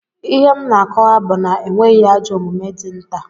Ihe m na-akọwa bụ na enweghị ajọ omume dị nta